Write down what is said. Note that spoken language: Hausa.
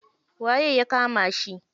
Waye ya kama shi?